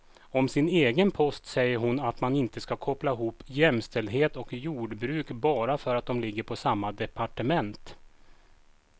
Om sin egen post säger hon att man inte ska koppla ihop jämställdhet och jordbruk bara för att de ligger på samma departement.